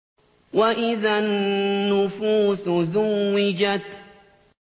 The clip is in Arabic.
وَإِذَا النُّفُوسُ زُوِّجَتْ